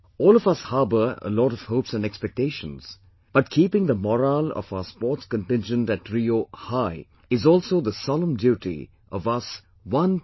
All of us harbour a lot of hopes and expectations, but keeping the morale of our sports contingent at RIO high is also the solemn duty of us 1